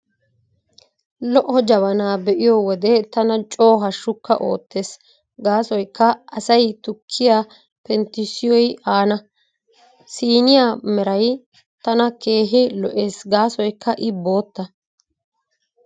Lo''o jabanaa be'iyo wode tana coo hashshukka oottees gaasoykka asay tukkiyaa penttissiyoy aana. Siiniyaa Meray tana keehi lo'ees gaasoykka I bootta.